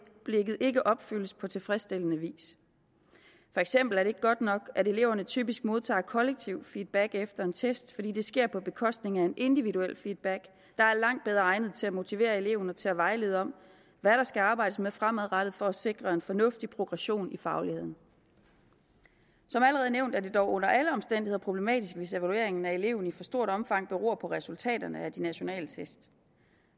ikke opfyldes på tilfredsstillende vis for eksempel er det ikke godt nok at eleverne typisk modtager kollektive feedback efter en test fordi det sker på bekostning af en individuel feedback der er langt bedre egnet til at motivere eleverne og til at vejlede om hvad der skal arbejdes med fremadrettet for at sikre en fornuftig progression i fagligheden som allerede nævnt er det dog under alle omstændigheder problematisk hvis evalueringen af eleven i for stort omfang beror på resultaterne af de nationale test